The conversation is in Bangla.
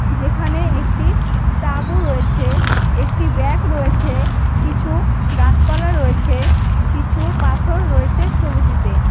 যেখানে একটি তাঁবু রয়েছে একটি ব্যাগ রয়েছে কিছু গাছপালা রয়েছে কিছু পাথর রয়েছে ছবিটিতে.